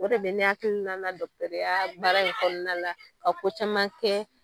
O de bɛ ne hakilina la baara in kɔnɔna la, ka ko caman kɛ